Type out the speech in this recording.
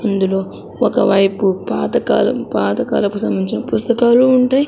అందులో ఒకవైపు పాతకాలం పాత కాలపు సంబంధించిన పుస్తకాలు ఉంటాయి.